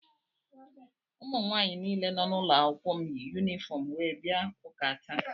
Ụmụnwaanyị niile nọ n’ụlọụka m yi yunifọm wee bia ụka taa.